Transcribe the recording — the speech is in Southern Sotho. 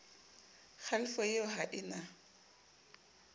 kgalefo eo ha e na